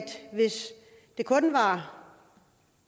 hvis det kun var